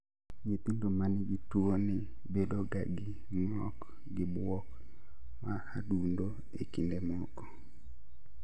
Nyithindo manigi tuo ni bedo ga gi ng'ok gi buok ma adundo e kind moko